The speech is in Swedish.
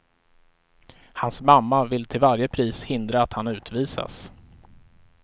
Hans mamma vill till varje pris hindra att han utvisas.